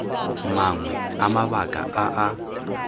mangwe a mabaka a a